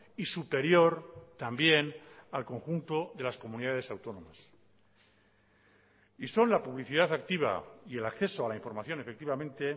y superior también al conjunto de las comunidades autónomas y son la publicidad activa y el acceso a la información efectivamente